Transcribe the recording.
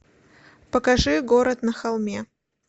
покажи город на холме